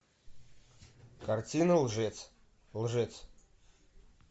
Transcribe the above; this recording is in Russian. картина лжец лжец